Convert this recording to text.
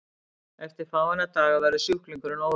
eftir fáeina daga verður sjúklingurinn órólegur